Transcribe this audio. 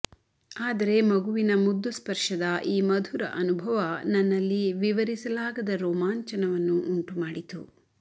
ಆದರೆ ಮಗುವಿನ ಮುದ್ದು ಸ್ಪರ್ಶದ ಈ ಮಧುರ ಅನುಭವ ನನ್ನಲ್ಲಿ ವಿವರಿಸಲಾಗದ ರೋಮಾಂಚನವನ್ನು ಉಂಟುಮಾಡಿತು